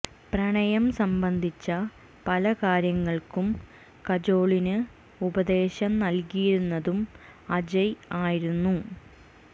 പ്രണയം സംബന്ധിച്ച പല കാര്യങ്ങൾക്കും കജോളിന് ഉപദേശം നൽകിയിരുന്നതും അജയ് ആയിരുന്നു